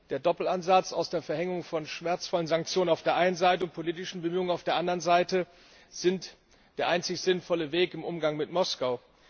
Der Doppelansatz aus der Verhängung von schmerzvollen Sanktionen auf der eine Seite und politischen Bemühungen auf der anderen Seite ist der einzig sinnvolle Weg im Umgang mit Moskau.